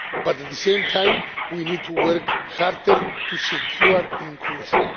But, at the same time, we need to work harder to secure inclusion.